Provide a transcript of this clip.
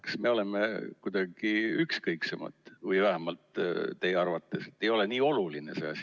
Kas me oleme kuidagi ükskõiksemad või ei ole see asi vähemalt teie arvates nii oluline?